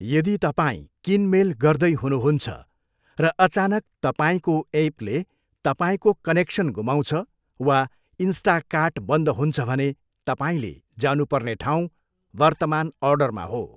यदि तपाईँ किनमेल गर्दै हुनुहुन्छ र अचानक तपाईँको एपले तपाईँको कनेक्सन गुमाउँछ वा इन्स्टाकर्ट बन्द हुन्छ भने तपाईँले जानु पर्ने ठाउँ वर्तमान अर्डरमा हो।